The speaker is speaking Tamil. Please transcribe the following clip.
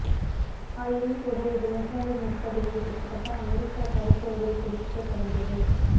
ஆயினும்கூட இது நூற்றாண்டின் முற்பகுதியில் கிட்டத்தட்ட அமெரிக்க கருப்பொருளைப் பிடிக்க தொடங்கியது